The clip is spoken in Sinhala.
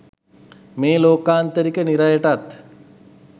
මේ ලෝකාන්තරික නිරයටත්